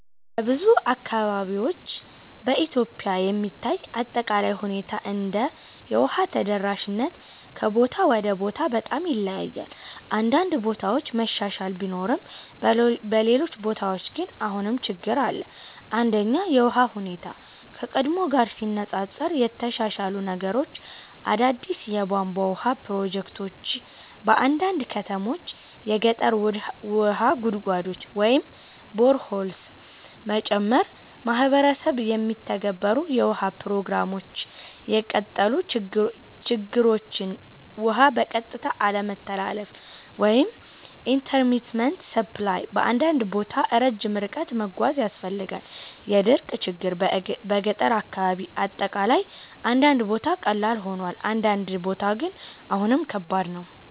በብዙ አካባቢዎች (በኢትዮጵያ የሚታይ አጠቃላይ ሁኔታ እንደሆነ) የውሃ ተደራሽነት ከቦታ ወደ ቦታ በጣም ይለያያል። አንዳንድ ቦታ መሻሻል ቢኖርም በሌሎች ቦታዎች ግን አሁንም ችግኝ አለ። 1) የውሃ ሁኔታ (ከቀድሞ ጋር ሲነፃፀር) የተሻሻሉ ነገሮች አዳዲስ የቧንቧ ውሃ ፕሮጀክቶች በአንዳንድ ከተሞች የገጠር ውሃ ጉድጓዶች (boreholes) መጨመር ማህበረሰብ የሚተገበሩ የውሃ ፕሮግራሞች የቀጠሉ ችግኞች ውሃ በቀጥታ አለመተላለፍ (intermittent supply) በአንዳንድ ቦታ ረጅም ርቀት መጓዝ ያስፈልጋል የድርቅ ችግኝ በገጠር አካባቢ አጠቃላይ አንዳንድ ቦታ ቀላል ሆኗል፣ አንዳንድ ቦታ ግን አሁንም ከባድ ነው።